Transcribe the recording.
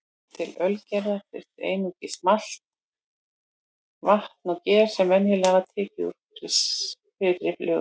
Til ölgerðar þurfti einungis malt, vatn og ger sem venjulega var tekið úr fyrri lögun.